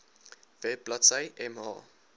web bladsy mh